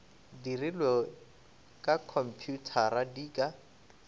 dirilwe ka khomphuthara di ka